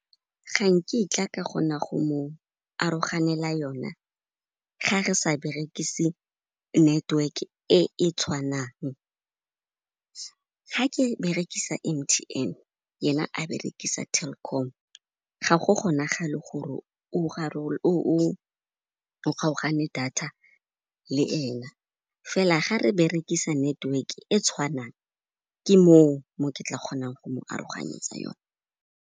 Ga nkitla ka kgona go mo aroganela yona ga re sa berekise network e e tshwanang. Ga ke berekisa M_T_N, yena a berekisa Telkom, ga go kgonagale gore o kgaogane data le ena, fela ga re berekisa network e tshwanang ke moo, mo ke tla kgonang go mo aroganyetsa yona.